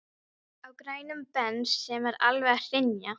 Á grænum Bens sem er alveg að hrynja.